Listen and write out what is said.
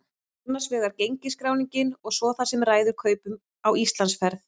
Annars vegar gengisskráningin og svo það sem ræður kaupum á Íslandsferð.